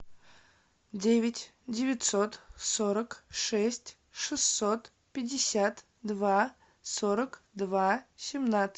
девять девятьсот сорок шесть шестьсот пятьдесят два сорок два семнадцать